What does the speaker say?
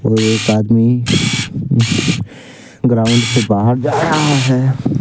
एक आदमी ग्राउंड से बाहर जा रहा है।